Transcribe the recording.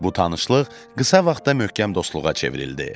Bu tanışlıq qısa vaxtda möhkəm dostluğa çevrildi.